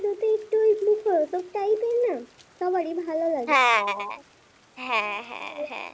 সবারই তো ভালো লাগে।